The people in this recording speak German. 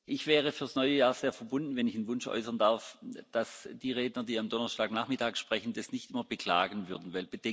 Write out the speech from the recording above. Ich wäre für das neue Jahr sehr verbunden, wenn ich einen Wunsch äußern darf, dass die Redner, die am Donnerstagnachmittag sprechen, das nicht nur beklagen würden.